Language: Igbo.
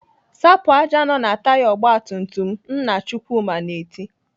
"Sapụ ájá nọ na taya ọgbatumtum m!" Nna Chukwuma na-eti.